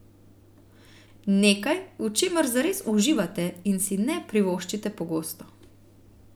Nekaj, v čemer zares uživate in si ne privoščite pogosto.